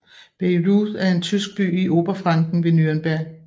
Bayreuth er en tysk by i Oberfranken ved Nürnberg